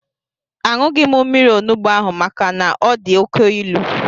Aṅụghị m mmiri onugbu ahụ maka na ọ dị oké ilu